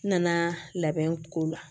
N nana labɛn ko la